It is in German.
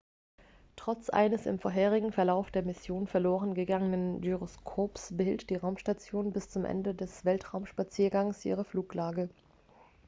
trotz eines im vorherigen verlauf der mission verloren gegangenen gyroskops behielt die raumstation bis zum ende des weltraumspaziergangs ihre fluglage